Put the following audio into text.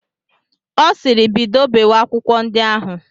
Ọ sịịrị, bido bewe akwụkwọ ndi ahụ!